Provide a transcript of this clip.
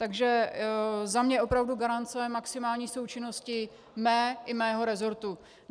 Takže za mě opravdu garance maximální součinnosti mé i mého resortu.